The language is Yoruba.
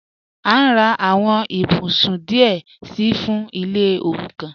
A n rà àwọn ìbùsún díẹ̀ sí fún ilẹ̀ òrúkàn.